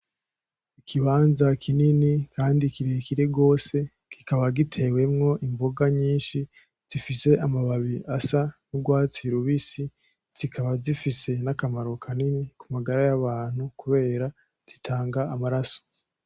Ikibanza kinini Kandi kirekire gose kikaba gitewemwo imboga nyishi zifise amababi asa n'urwatsi rubisi ,zikaba zifise akamaro kanini kumagara y'abantu kubera zitanga amaraso.